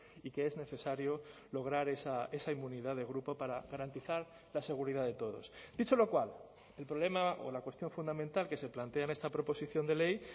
y que es necesario lograr esa inmunidad de grupo para garantizar la seguridad de todos dicho lo cual el problema o la cuestión fundamental que se plantea en esta proposición de ley